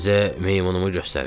Sizə meymunumu göstərim.